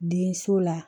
Denso la